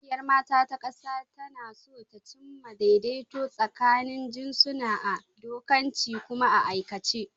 Ƙungiyar mata ta ƙasa tana so ta cimma daidaito tsakanin jinsuna a dokance kuma a aikace.